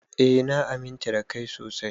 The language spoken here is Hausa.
Eh na aminta da Kai sosai.